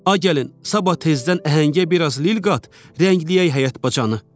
Ay gəlin, sabah tezdən əhəngə biraz lil qat, rəngləyək həyət bacanı.